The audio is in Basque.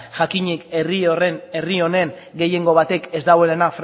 jakinik herri honen gehiengo batek ez dauela